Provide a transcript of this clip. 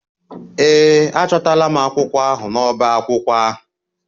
Ee, achọtara m akwụkwọ ahụ n'ọbá akwụkwọ ahụ.